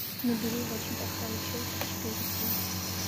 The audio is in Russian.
набери очень плохая училка четыре кей